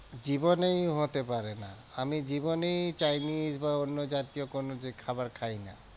জীবনেই হতে পারে না আমি জীবনেই chinese বা অন্য জাতীয় কোনো খাবার খাই না।